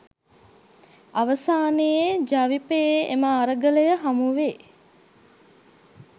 අවසානයේ ජවිපෙයේ එම අරගලය හමුවේ